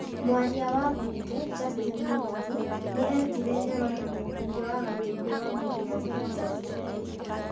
Mwaria wa mbunge, Justin Mũturi, nĩ etire Nyoro na mũmbunge wa Gatũndũ ya mũhuro, Moses Kũria,